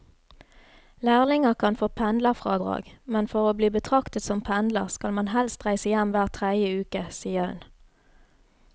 Lærlinger kan få pendlerfradrag, men for å bli betraktet som pendler skal man helst reise hjem hver tredje uke, sier hun.